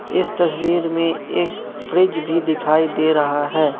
इस तस्वीर में एक फ्रिज भी दिखाई दे रहा है।